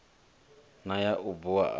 na ya u bua hu